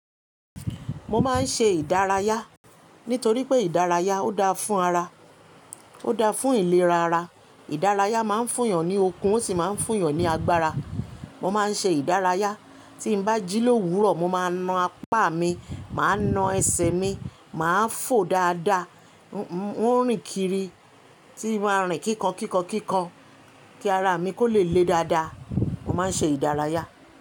Mo máa ń ṣe ìdárayá nítorí pé ìdárayá ó dáa fún ara, ó dáa fún ìlera ara. Ìdárayá máa ń fún yàn ní okun ó sì máa ń fún yàn ní agbára. Mo máa ń ṣe ìdárayá tí ń bá jí lówurọ̀, mo máa na apá mi, màá na ẹsẹ̀ mi, màá fò dáadáa. Mo ń rìn kiri tí maa rìn kíkankíkankíkan kí ara mi kó le le dáadáa. Mo máa ń ṣe ìdárayá.